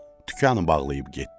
Dükkanı bağlayıb getdi.